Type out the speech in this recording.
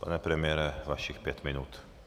Pane premiére, vašich pět minut.